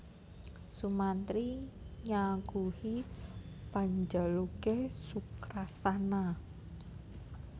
Sumantri nyaguhi panjaluke Sukrasana